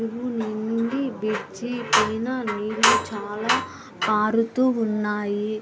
చెరువు నిండి బ్రిడ్జి పైన నుండి నీళ్లు చాల పారుతూ ఉన్నాయి.